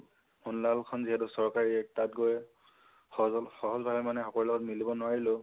সুন্লাল খন যিহেতু চৰকাৰী, তাত গৈ সহ সহজ ভাবে মানে সকলোৰে লগত মিলিব নোৱাৰিলো